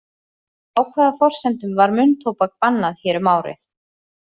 Á hvaða forsendum var munntóbak bannað hér um árið?